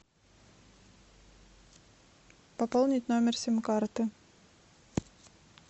пополнить номер сим карты